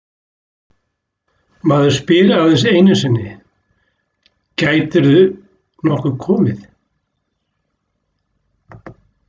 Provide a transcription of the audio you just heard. Maður spyr aðeins einu sinni Gætirðu nokkuð komið?